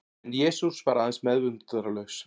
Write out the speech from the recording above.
En Jesús var aðeins meðvitundarlaus.